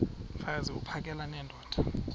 mfaz uphakele nendoda